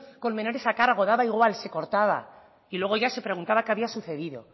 con menores a cargo daba igual se cortaba y luego ya se preguntaba qué había sucedido